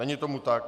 Není tomu tak.